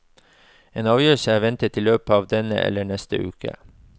En avgjørelse er ventet i løpet av denne eller neste uke.